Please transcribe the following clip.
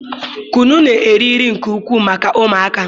kunu na-eri nri nke ukwuu maka ụmụaka